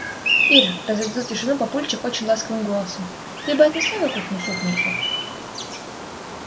ир разрядил тишину папульчик очень ласковым голосом ты бы отнесла на кухню супницу